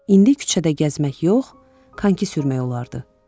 İndi küçədə gəzmək yox, konki sürmək olardı.